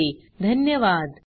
सहभागासाठी धन्यवाद